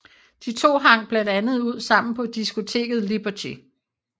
De to hang blandt andet ud sammen på diskoteket Liberty